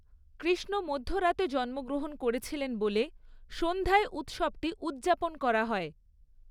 কৃষ্ণ মধ্যরাতে জন্মগ্রহণ করেছিলেন বলে সন্ধ্যায় উৎসবটি উদযাপন করা হয়।